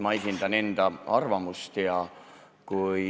Ma esindan enda arvamust.